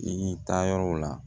I y'i ta yɔrɔw la